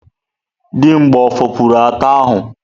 Dimgba o fopụrụ ata ahu?